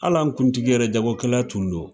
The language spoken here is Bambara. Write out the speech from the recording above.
Hal'an kuntigi yɛrɛ jagokɛla tun don.